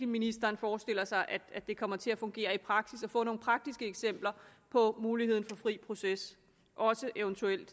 ministeren forestiller sig at det kommer til at fungere i praksis og få nogle praktiske eksempler på muligheden for fri proces eventuelt